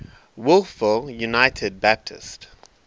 wolfville united baptist